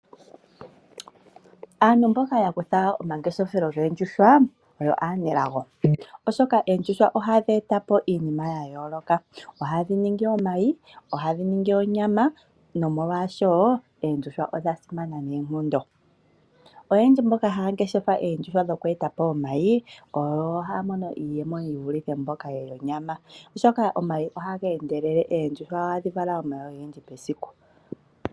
Aantu mboka ya kutha omangeshefelo goondjuhwa oyo aanelago noonkondo. Oondjuhwa ohadhi eta po iinima ya yoolokathana. Ohadhi ningi omayi, ohadhi ningi onyama, nomolwashoka oondjuhwa odha simana noonkondo. Oyendji mboka haya ngeshefa oondjuhwa dhoku eta po omayi, ohaya mono iiyemo ye vulithe mboka yonyama, oshoka oondjuhwa ohadhi vala omayi ogendji mesiku.